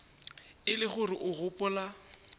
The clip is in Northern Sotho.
e le gore o gopola